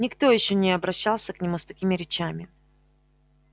никто ещё не обращался к нему с такими речами